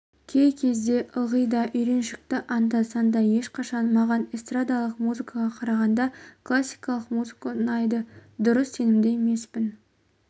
кей кезде ылғи да үйреншікті анда-санда ешқашан маған эстрадалық музыкаға қарағанда классикалық музыка ұнайды дұрыс сенімді емеспін